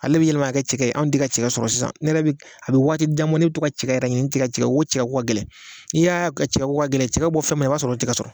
Ale be yɛlɛma ka kɛ cɛgɛ sɔrɔ sisan ne yɛrɛ bi a bi waati jan bɔ ne be to cɛgɛ yɛrɛ ɲini n te cɛgɛ ko ka gɛlɛn i y'a ko cɛkɛko cɛgɛ bi bɔ fɛn min na i b'a sɔrɔ o tɛ ka sɔrɔ